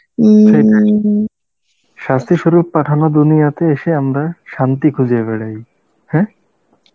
শাস্তি স্বরূপ পাঠানো, দুনিয়াতে এসে আমরা শান্তি খুঁজে বেড়াই, হ্যাঁ?